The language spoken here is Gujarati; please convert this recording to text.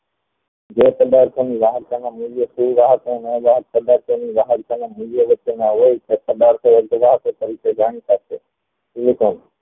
જે પધાર્થ ની મૂલ્ય વ્યક્ત હોય તે પધારતી તરીકે જાણીતા છે